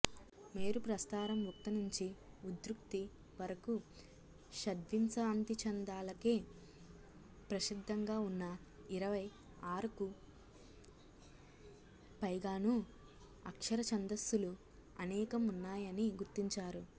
మేరుప్రస్తారం ఉక్త నుంచి ఉత్కృతి వఱకు షడ్వింశతిచ్ఛందాలకే ప్రసిద్ధంగా ఉన్నా ఇరవై ఆఱుకు పైగానూ అక్షరచ్ఛందస్సులు అనేకం ఉన్నాయని గుర్తించారు